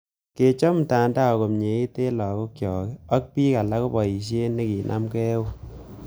Kechob mtandao komyeiit eng' lagook chok ak piik alak ko paisyet nekinamegei eun.